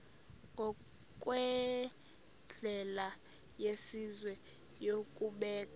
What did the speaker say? ngokwendlela yesizwe yokubeka